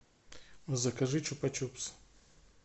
закажи чупа чупс